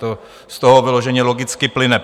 To z toho vyloženě logicky plyne.